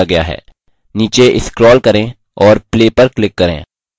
नीचे scroll करें और play पर click करें